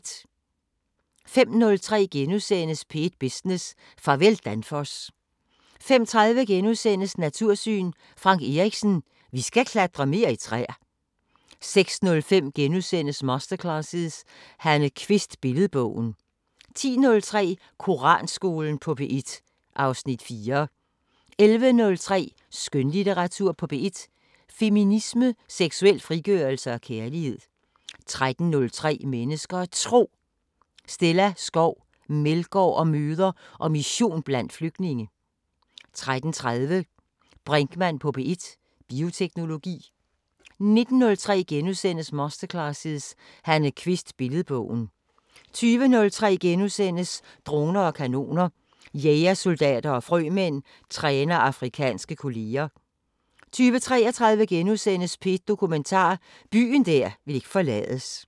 05:03: P1 Business: Farvel Danfoss * 05:30: Natursyn: Frank Erichsen: Vi skal klatre mere i træer * 06:05: Masterclasses – Hanne Kvist: Billedbogen * 10:03: Koranskolen på P1 (Afs. 4) 11:03: Skønlitteratur på P1: Feminisme, seksuel frigørelse og kærlighed 13:03: Mennesker og Tro: Stella Skov Meldgaard om møder og mission blandt flygtninge 13:30: Brinkmann på P1: Bioteknologi 19:03: Masterclasses – Hanne Kvist: Billedbogen * 20:03: Droner og kanoner: Jægersoldater og frømænd træner afrikanske kolleger * 20:33: P1 Dokumentar: Byen der ikke ville forlades *